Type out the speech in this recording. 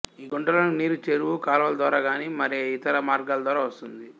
ఈ గుంట లోనికి నీరు చెరువు కాలవ ద్వారా గాని మరే ఇతర మార్గాల ద్వారా వస్తుంది